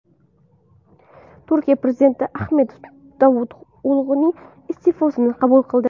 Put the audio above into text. Turkiya prezidenti Ahmed Davuto‘g‘lining iste’fosini qabul qildi.